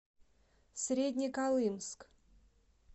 среднеколымск